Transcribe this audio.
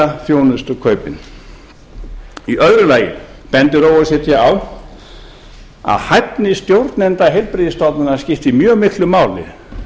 samningsbinda þjónustukaupin annað o e c d bendir á að hæfni stjórnenda heilbrigðisstofnana skiptir mjög miklu máli